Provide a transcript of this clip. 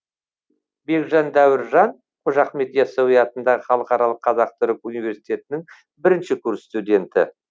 бекжан дәуіржан қожа ахмет ясауи атындағы халықаралық қазақ түрік университетінің бірінші курс студенті